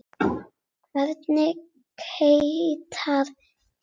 Hvernig hitar kvikan vatnið?